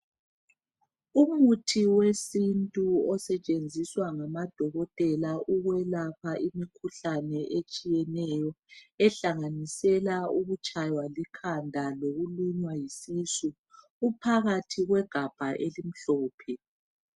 Umuthi wesintu osetshenziswa ngamadokotela ukwelapha imkhuhlane etshiyeneyo ehlanganisela ukutshaywa likhanda lokulunywa yisisu. Uphakathi kwegabha elimhlophe.